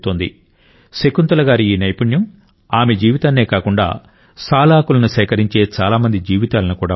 శకుంతల గారి ఈ నైపుణ్యం ఆమె జీవితాన్నే కాకుండా సాల్ ఆకులను సేకరించే చాలా మంది జీవితాలను కూడా మార్చింది